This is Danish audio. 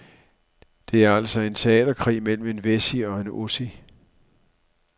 Det er altså en teaterkrig mellem en wessie og en ossie.